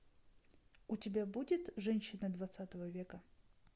у тебя будет женщина двадцатого века